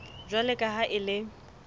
jwalo ka ha e le